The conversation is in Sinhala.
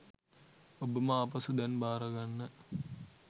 ඔබම ආපසු දැන් බාරගන්න